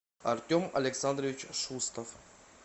артем александрович шустов